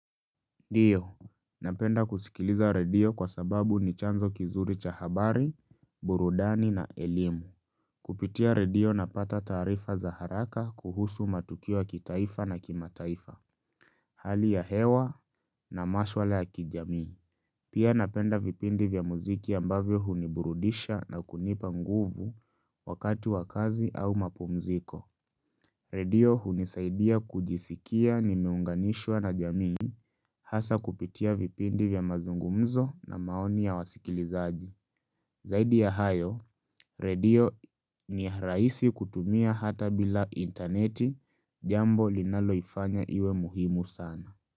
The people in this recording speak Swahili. Ndio, napenda kusikiliza redio kwa sababu ni chanzo kizuri cha habari, burudani na elimu. Kupitia redio napata taarifa za haraka kuhusu matukio ya kitaifa na kimataifa. Hali ya hewa na mashwala ya kijamii. Pia napenda vipindi vya mziki ambavyo huniburudisha na kunipa nguvu wakati wa kazi au mapumziko. Redio hunisaidia kujisikia nimeunganishwa na jamii hasa kupitia vipindi vya mazungumzo na maoni ya wasikilizaji. Zaidi ya hayo, redio ni rahisi kutumia hata bila interneti jambo linaloifanya iwe muhimu sana.